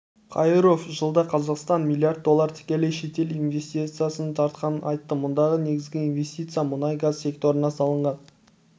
қайыров жылда қазақстан млрд доллар тікелей шетел инвестициясын тартқанын айтты мұндағы негізгі инвестиция мұнай-газ секторына салынған